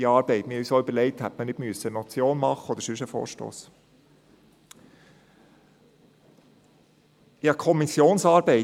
Wir haben uns auch überlegt, ob man nicht eine Motion oder einen anderen Vorstoss hätte einreichen müssen.